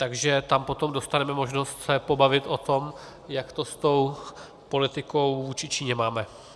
Takže tam potom dostaneme možnost se pobavit o tom, jak to s tou politikou vůči Číně máme.